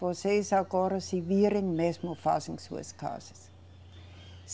Vocês agora se virem mesmo e façam suas casas.